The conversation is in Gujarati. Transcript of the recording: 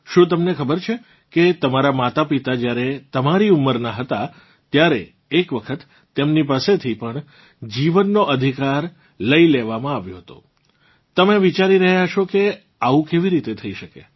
શું તમને ખબર છે કે તમારાં માતાપિતા જ્યારે તમારી ઉંમરનાં હતા ત્યારે એક વખત તેમની પાસેથી પણ જીવનનો અધિકાર લઇ લેવામાં આવ્યો હતો તમે વિચારી રહ્યાં હશો કે આવું કેવી રીતે થઇ શકે